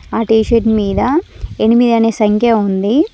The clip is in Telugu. ఆ టీషర్ట్ మీద ఎనిమిది అనే సంఖ్య ఉంది.